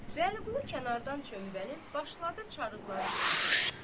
Vəliqulu kənardan çömbəlib başladı çarıqları çıxarmağa.